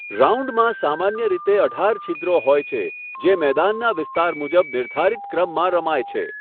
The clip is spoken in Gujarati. રાઉન્ડમાં સામાન્ય રીતે અઢાર છિદ્રો હોય છે જે મેદાનનાં વિસ્તાર મુજબ નિર્ધારિત ક્રમમાં રમાય છે.